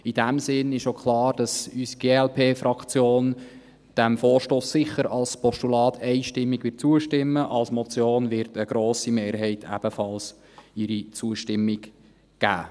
In diesem Sinn ist auch klar, dass unsere glp-Fraktion diesem Vorstoss als Postulat sicher einstimmig zustimmen wird, als Motion wird eine grosse Mehrheit ebenfalls ihre Zustimmung geben.